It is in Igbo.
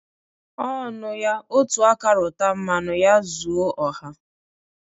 Ọ nụya, otu aka rụta mmanụ ya zu ọha.